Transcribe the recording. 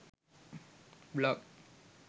blog